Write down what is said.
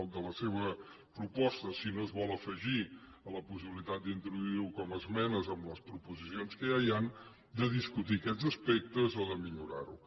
al de la seva proposta si no es vol afegir a la possibilitat d’introduir ho com a esmenes en les proposicions que ja hi han de discutir aquests aspectes o de millorar ho